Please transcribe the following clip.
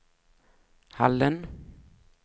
Hallen